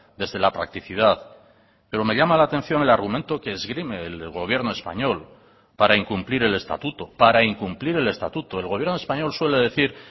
desde la practicidad pero me llama la atención el argumento que esgrime el gobierno español para incumplir el estatuto para incumplir el estatuto el gobierno español suele decir